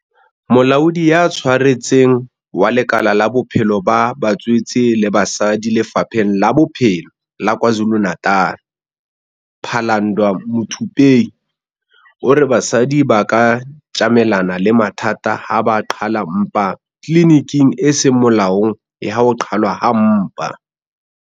Molaodi ya Tshwaretseng wa lekala la Bophelo ba Batswetse le Basadi Lefapheng la Bophelo la KwaZulu-Natal, Phalanndwa Muthupei, o re basadi ba ka tjamelana le mathata ha ba qhala mpa tliliniking e seng molaong ya ho qhalwa ha mpa.